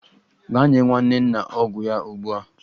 Gaa nye nwanne nna ọgwụ ya ugbu a!